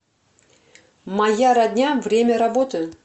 моя родня время работы